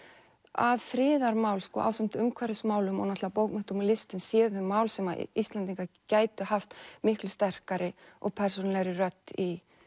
að friðarmál sko ásamt umhverfismálum og náttúrulega bókmenntum og listum séu þau mál sem Íslendingar gætu haft miklu sterkari og persónulegri rödd í